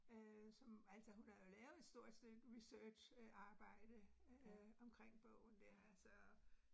Øh som, altså hun har jo lavet et stort stykke research øh arbejde øh omkring bogen dér så